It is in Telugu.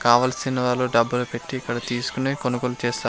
కావలసిన వాళ్లు డబ్బులు పెట్టి ఇక్కడ తీసుకొనే కొనుగోలు చేస్తారు.